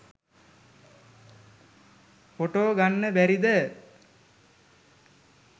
Photo ගන්න බැරිද?